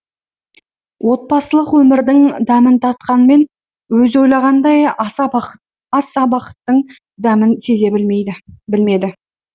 отбасылық өмірдің дәмін татқанмен өзі ойлағандай аса бақыттың дәмін сезіне білмеді